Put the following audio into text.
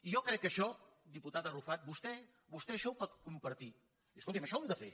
jo crec que això diputat arrufat vostè vostè això ho pot compartir dir escolti’m això ho hem de fer